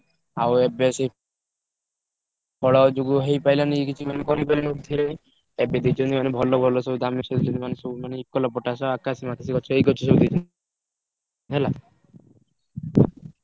ଆଉ ଏବେ ସେଇ ଫଳ ଯୋଗୁ ହେଇପାଇଲାନି କିଛି ମାନେ କରିପାରିଲୁନି କିଛି ଏବେ ଦେଇଛନ୍ତି ମାନେ ଭଲ ଭଲ ସବୁ ମାନେ ସବୁ ମାନେ ଇଉକାଲପଟାସ, ଆକାଶି ମାକାଶି ଗଛ ଏଇ ଗଛ ସବୁ ଦେଇଛନ୍ତି। ହେଲା